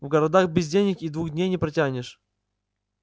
в городах без денег и двух дней не протянешь